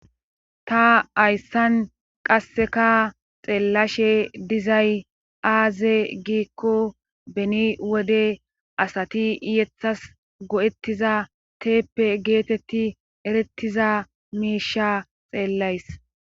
Ta ayssan qasseka xeellashe dizay aaze giikko beni wode asati iyeththas go'ettiza teeppe geetetti erettiza miisha xeellays.